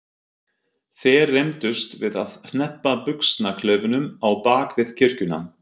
Þeir rembdust við að hneppa buxnaklaufunum á bak við kirkjuna.